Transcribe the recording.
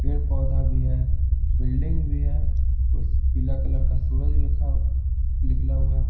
पेड़-पौधा भी है बिल्डिंग भी है उस पीला कलर का सूरज रखा निकला हुआ --